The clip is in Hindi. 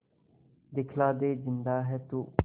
दिखला दे जिंदा है तू